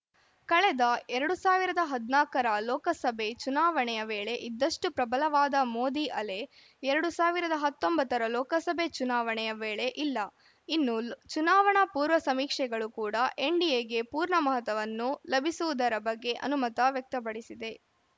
ಕಳೆದ ಎರಡ್ ಸಾವಿರದ ಹದಿನಾಲ್ಕರ ಲೋಕಸಭೆ ಚುನಾವಣೆಯ ವೇಳೆ ಇದ್ದಷ್ಟುಪ್ರಬಲವಾದ ಮೋದಿ ಅಲೆ ಎರಡ್ ಸಾವಿರದ ಹತ್ತೊಂಬತ್ತರ ಲೋಕಸಭೆ ಚುನಾವಣೆಯ ವೇಳೆ ಇಲ್ಲ ಇನ್ನು ಚುನಾವಣಾ ಪೂರ್ವ ಸಮೀಕ್ಷೆಗಳು ಕೂಡ ಎನ್‌ಡಿಎಗೆ ಪೂರ್ಣ ಮಹತವನ್ನು ಲಭಿಸುವುದರ ಬಗ್ಗೆ ಅನುಮತ ವ್ಯಕ್ತಪಡಿಸಿವೆ